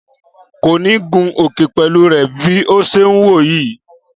Kò ni gun òkè pẹ̀lú rẹ bi ọ ṣe ń wò ọ yìí